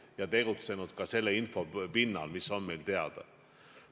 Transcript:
Oleme tegutsenud selle info põhjal, mis on meil teada.